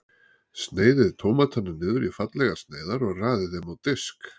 Sneiðið tómatana niður í fallegar sneiðar og raðið þeim á disk.